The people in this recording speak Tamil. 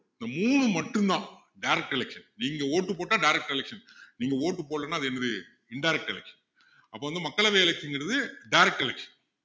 இந்த மூணு மட்டும் தான் direct election நீங்க vote போட்டா direct election நீங்க vote போடலைன்னா அது என்னது indirect election அப்போ வந்து மக்களவை election ங்கிறது direct election